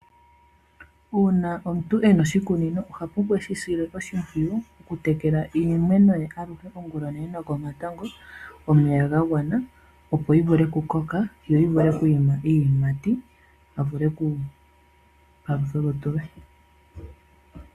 Uuna omuntu e na oshikunino. Oha pumbwa eshi sile oshimpwiyu, oku tekela iimeno ye aluhe ongula onene nokomatango, omeya gagwana, opo yivule okukoka, yo yivule okwiima iiyimati, a vule okupalutha olutu lwe.